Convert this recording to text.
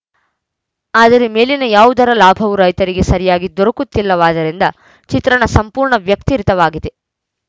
ಆದರೆ ಮೇಲಿನ ಯಾವುದರ ಲಾಭವೂ ರೈತರಿಗೆ ಸರಿಯಾಗಿ ದೊರಕುತ್ತಿಲ್ಲವಾದ್ದರಿಂದ ಚಿತ್ರಣ ಸಂಪೂರ್ಣ ವ್ಯತಿರಿಕ್ತವಾಗಿದೆ